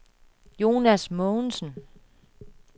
Jonas Mogensen